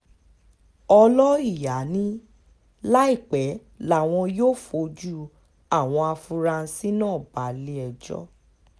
ọlọ́ìyá ni láìpẹ́ làwọn yóò fojú àwọn afurasí náà balé-ẹjọ́